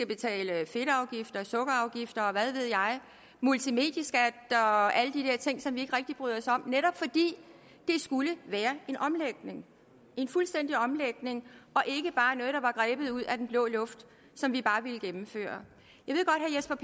betale fedtafgifter sukkerafgifter og hvad ved jeg multimedieskat og alle de der ting som vi ikke rigtig bryder os om netop fordi det skulle være en omlægning en fuldstændig omlægning og ikke bare noget der var grebet ud af den blå luft og som vi bare ville gennemføre